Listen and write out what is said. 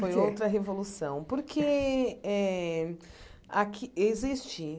Por que Foi outra revolução, porque eh aqui existe